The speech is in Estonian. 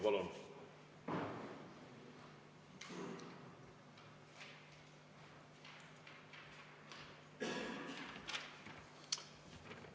Palun!